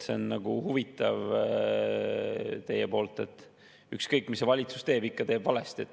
See on huvitav teil, et ükskõik, mis valitsus teeb, ikka teeb valesti.